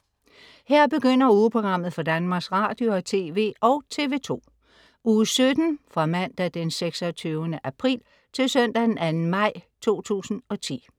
Her begynder ugeprogrammet for Danmarks Radio- og TV og TV2 Uge 17 Fra Mandag den 26. april 2010 Til Søndag den 2. maj 2010